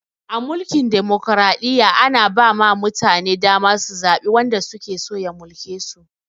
A mulkin dimokraɗiyya, ana ba ma mutane dama su zaɓi wanda suke so ya mulke su.